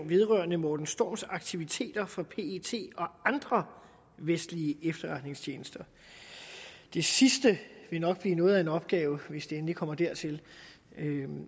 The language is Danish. vedrørende morten storms aktiviteter for pet og andre vestlige efterretningstjenester det sidste vil nok blive noget af en opgave hvis det endelig kommer dertil